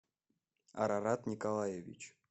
арарат николаевич